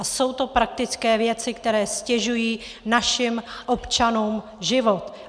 A jsou to praktické věci, které ztěžují našim občanům život.